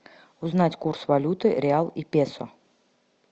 узнать курс валюты реал и песо